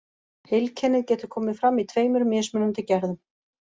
Heilkennið getur komið fram í tveimur mismunandi gerðum.